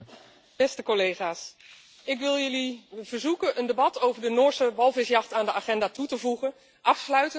Ik wil jullie verzoeken een debat over de Noorse walvisjacht aan de agenda toe te voegen, afsluitend met een resolutie in september.